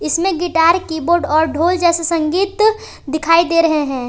इसमें guitar keyboard और ढोल जैसे संगीत दिखाई दे रहे हैं।